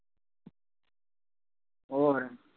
ਹੋਰ।